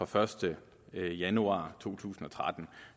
første januar to tusind og tretten